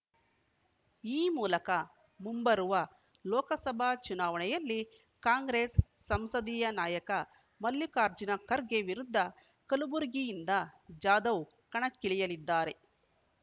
ಈ ಮೂಲಕ ಮುಂಬರುವ ಲೋಕಸಭಾ ಚುನಾವಣೆಯಲ್ಲಿ ಕಾಂಗ್ರೆಸ್‌ ಸಂಸದೀಯ ನಾಯಕ ಮಲ್ಲಿಕಾರ್ಜುನ ಖರ್ಗೆ ವಿರುದ್ಧ ಕಲಬುರಗಿಯಿಂದ ಜಾಧವ್‌ ಕಣಕ್ಕಿಳಿಯಲಿದ್ದಾರೆ